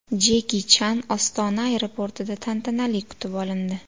Jeki Chan Ostona aeroportida tantanali kutib olindi.